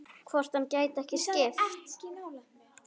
Hvort hann gæti ekki skipt?